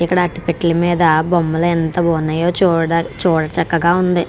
ఇక్కడ అట పెటిల మీద బొమ్మలు ఎంత బాగున్నాయో చూడటానికి చూడచక్కగా ఉంది.